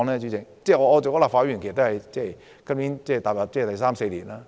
主席，我出任立法會議員已有三四年。